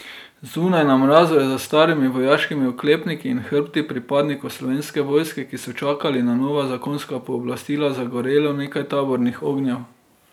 Zunaj, na mrazu, je za starimi vojaškimi oklepniki in hrbti pripadnikov Slovenske vojske, ki so čakali na nova zakonska pooblastila, zagorelo nekaj tabornih ognjev.